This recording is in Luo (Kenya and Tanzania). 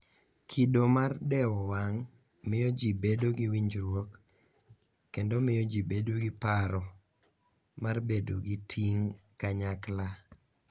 Kido mar dewo wang' miyo ji bedo gi winjruok kendo miyo ji bedo gi paro mar bedo gi ting' kanyakla